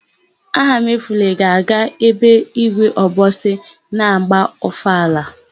Ahamefule ga-aga ebe ígwé Obosi na-agba ọfala.